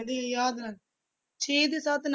ਯਾਦ ਨਾਲ, ਛੇ ਦੇ ਸੱਤ ਨਾ